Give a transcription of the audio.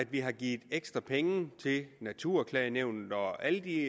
vi har givet ekstra penge til naturklagenævnet og alle de